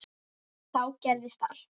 Þá gerðist allt.